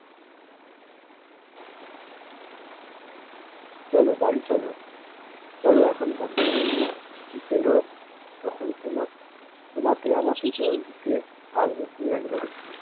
চলো বাড়ি চলো, চলো এখন বাড়ি চলো। বিকেল হোক তখন তোমা~ তোমাকে আমাকে জল দিতে আসবো পিঁয়াজ বাড়িতে।